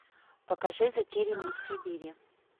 покажи затерянный в сибири